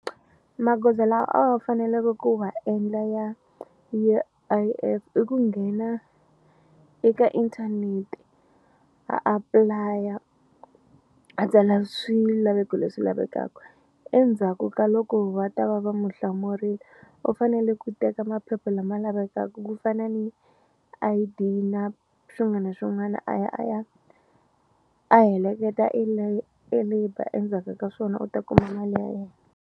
Magoza lawa a wa faneleke ku wa endla ya U_I_F i ku nghena eka inthanete a apply-a a tsala swilaveko leswi lavekaka endzhaku ka loko va ta va va mu hlamurile u fanele ku teka maphepha lama lavekaku ku fana ni I_D yi na swin'wana na swin'wana a ya a ya a heleketa e labour endzhaka ka swona u ta kuma mali ya yena.